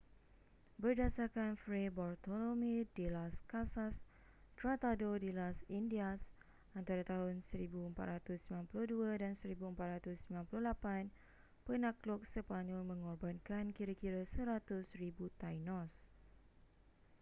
berdasarkan fray bartolomé de las casas tratado de las indias antara tahun 1492 dan 1498 penakluk sepanyol mengorbankan kira-kira 100,000 tainos